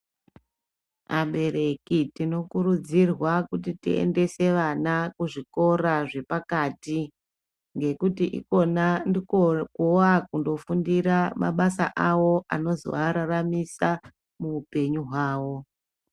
Abereki tinokurudzirwa kuti tiendese vana kuzvikora zvepakati, ngekuti ikona ndiko kwevaa kundofundira mabasa avo anozovararamisa muupenyu hwavo.